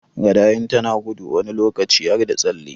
Gada in tana gudu wani lokaci har da tsalle